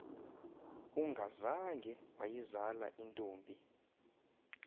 ungazange wayizala intombi